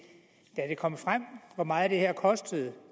kom frem hvor meget det her koster